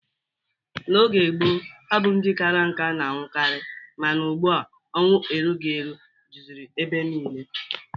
N'oge gboo, ọ bụ ndị kara nká na-anwụkarị mana ugbu a ọnwụ erughi eru juziri ebe niile.